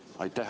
Aitäh!